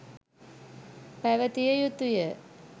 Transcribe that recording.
පැවතිය යුතුය.